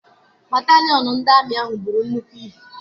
Batalịon ndị amị ahụ buru nnukwu ibu.